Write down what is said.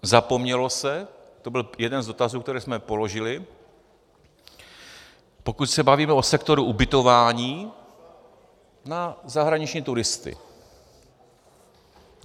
Zapomnělo se - to byl jeden z dotazů, které jsme položili, pokud se bavíme o sektoru ubytování - na zahraniční turisty.